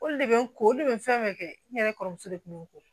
Olu de bɛ n ko olu de bɛ fɛn bɛɛ kɛ n yɛrɛ kɔrɔmuso de tun bɛ n kun